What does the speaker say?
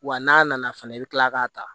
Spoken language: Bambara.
Wa n'a nana fɛnɛ i bɛ kila k'a ta